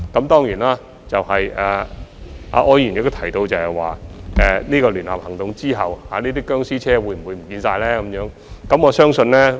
當然，柯議員亦問及在聯合行動之後，這些"殭屍車"會否全部消失。